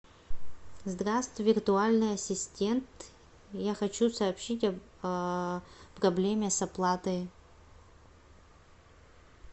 здравствуй виртуальный ассистент я хочу сообщить о проблеме с оплатой